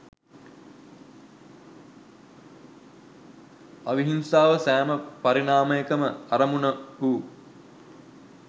අවිහිංසාව සෑම පරිණාමයකම අරමුණ වූ